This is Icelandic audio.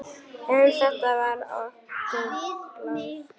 En þetta var okkar pláss.